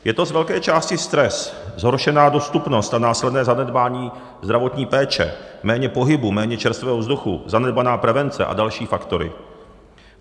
Je to z velké části stres, zhoršená dostupnost a následné zanedbání zdravotní péče, méně pohybu, méně čerstvého vzduchu, zanedbaná prevence a další faktory.